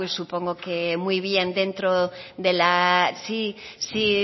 pues supongo que muy bien dentro de la sí sí